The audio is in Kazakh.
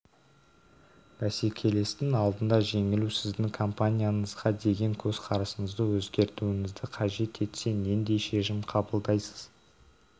бәсекелестің алдында жеңілу сіздің компанияңызға деген көзқарасыңызды өзгертуіңізді қажет етсе нендей шешім қабылдайсыз